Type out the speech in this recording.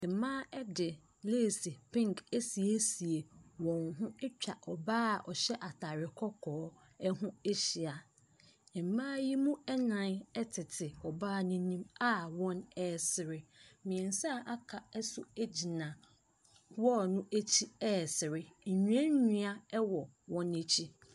Mmaa de lace penke asiesie wɔn ho atwa ɔbaa a ɔhyɛ ataade kɔkɔɔ ho ahyia. Mmaa yi mu nnan tete ɔbaa n’anim a wɔresere. Mmiɛnsa aka nso gyina wall no akyi ɛresere. Nnuannua wɔ wɔn akyi.